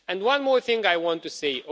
And one more thing I want to say.